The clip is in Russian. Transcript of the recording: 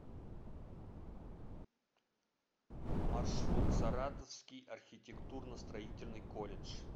маршрут саратовский архитектурно строительный колледж